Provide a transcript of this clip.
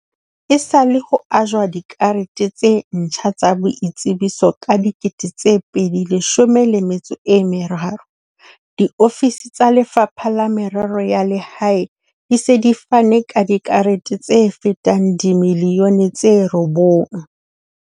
Esale ho ajwa dikarete tse ntjha tsa boitsebiso ka dikete tse pedi leshome le metso e meraro, diofisi tsa Lefapha la Merero ya Lehae di se di fane ka dikarete tse fetang dimiliyone tse robong.